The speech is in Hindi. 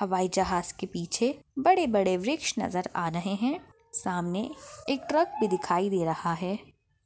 हवाई जहाज के पीछे बड़े बड़े वृक्ष नजर आ रहे है सामने एक ट्रक भी दिखाई दे रहा है